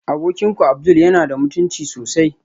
Abokinku abdul yana da mutunci sosai